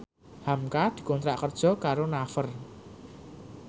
hamka dikontrak kerja karo Naver